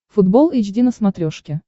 футбол эйч ди на смотрешке